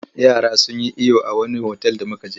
Yara sun yi iyo a wani otal da muka je.